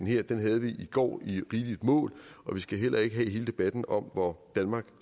her den havde vi i går i rigeligt mål og vi skal heller ikke have hele debatten om hvor danmark